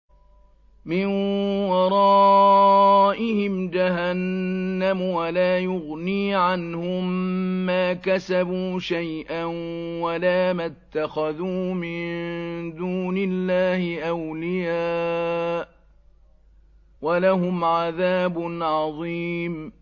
مِّن وَرَائِهِمْ جَهَنَّمُ ۖ وَلَا يُغْنِي عَنْهُم مَّا كَسَبُوا شَيْئًا وَلَا مَا اتَّخَذُوا مِن دُونِ اللَّهِ أَوْلِيَاءَ ۖ وَلَهُمْ عَذَابٌ عَظِيمٌ